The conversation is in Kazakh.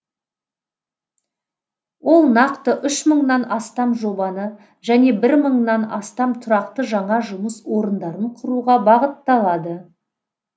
ол нақты үш мыңнан астам жобаны және бір мыңнан астам тұрақты жаңа жұмыс орындарын құруға бағытталады